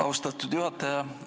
Austatud juhataja!